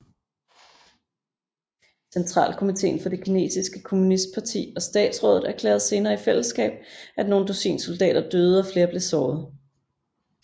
Centralkomitéen for det kinesiske kommunistparti og Statsrådet erklærede senere i fællesskab at nogle dusin soldater døde og flere blev såret